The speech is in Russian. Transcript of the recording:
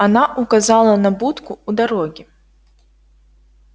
она указала на будку у дороги